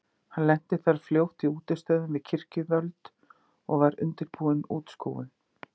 Hann lenti þar fljótt í útistöðum við kirkjuvöld og var undirbúin útskúfun.